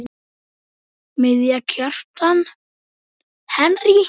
Miðja: Kjartan Henry